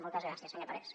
moltes gràcies senyor parés